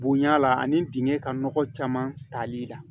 Bonya la ani dingɛ ka nɔgɔ caman tali la